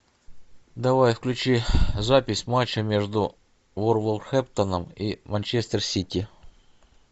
давай включи запись матча между вулверхэмптоном и манчестер сити